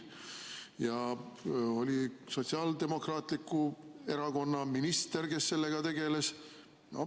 Siis oli Sotsiaaldemokraatliku Erakonna minister, kes sellega tegeles.